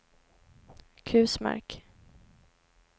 Kusmark